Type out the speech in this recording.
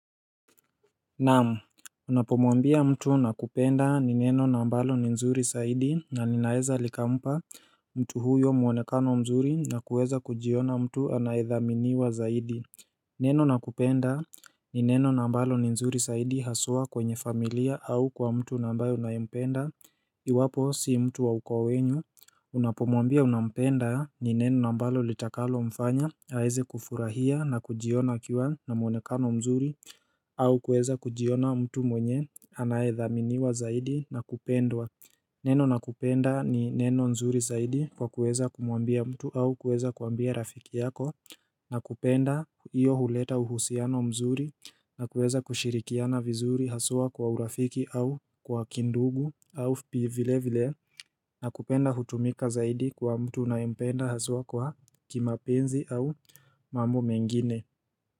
Naam, unapomwambia mtu nakupenda ni neno na ambalo ni nzuri zaidi na ninaeza likampa mtu huyo muonekano mzuri na kuweza kujiona mtu anaedhaminiwa zaidi Neno nakupenda ni neno na ambalo ni nzuri saidi haswa kwenye familia au kwa mtu na ambaye unayempenda Iwapo si mtu wa ukoo wenu Unapomwambia unampenda ni neno nambalo litakalo mfanya aweze kufurahia na kujiona kiwa na mwonekano mzuri au kuweza kujiona mtu mwenye anayedhaminiwa zaidi na kupendwa Neno na kupenda ni neno mzuri zaidi kwa kuweza kumuambia mtu au kueza kuambia rafiki yako Nakupenda iyo huleta uhusiano mzuri na kueza kushirikiana vizuri haswa kwa urafiki au kwa kindugu au vile vile Nakupenda hutumika zaidi kwa mtu unayependa haswa kwa kimapenzi au mambo mengine.